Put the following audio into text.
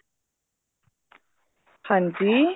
ਹਾਂਜੀ